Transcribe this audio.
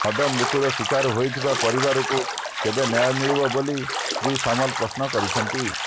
ମଦମୃତ୍ୟୁର ଶିକାର ହୋଇଥିବା ପରିବାରଙ୍କୁ କେବେ ନ୍ୟାୟ ମିଳିବ ବୋଲି ଶ୍ରୀ ସାମଲ ପ୍ରଶ୍ନ କରିଛନ୍ତି